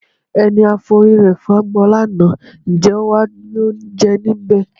Ẹni a forí rẹ fágbọn lánàá, ǹjẹ́ ó wá dúró jẹ níbẹ̀?